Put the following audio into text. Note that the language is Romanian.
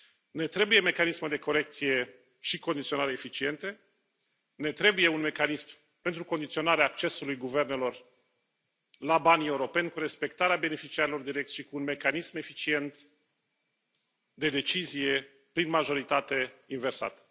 Ne trebuie mecanisme de corecție și condiționare eficiente, ne trebuie un mecanism pentru condiționarea accesului guvernelor la banii europeni, cu respectarea beneficiarilor direcți și cu un mecanism eficient de decizie prin majoritate inversată.